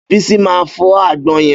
Bísí máa fọ́ àgbọn yẹn.